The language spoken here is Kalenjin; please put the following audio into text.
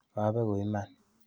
Kabeku iman.